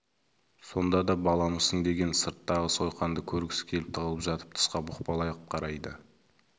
сонда да баламысың деген сырттағы сойқанды көргісі келіп тығылып жатып тысқа бұқпалап қарайды